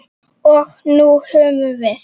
Og nú höfum við